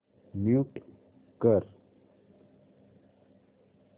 mute कर